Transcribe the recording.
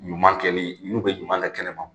Ɲuman kɛli n'u bɛ ɲuman kɛ kɛnɛ ma.